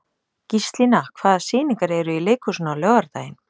Gíslína, hvaða sýningar eru í leikhúsinu á laugardaginn?